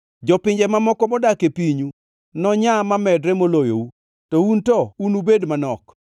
Jopinje mamoko modak e pinyu nonyaa mamedre moloyou, to un to unubed manok.